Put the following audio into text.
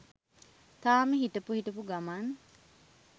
තාම හිටපු හිටපු ගමන්